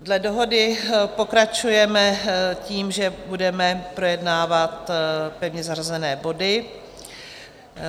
Dle dohody pokračujeme tím, že budeme projednávat pevně zařazené body.